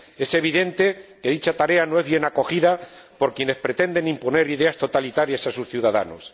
Es evidente que dicha tarea no es bien acogida por quienes pretenden imponer ideas totalitarias a sus ciudadanos.